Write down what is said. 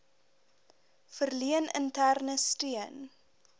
verleen interne steun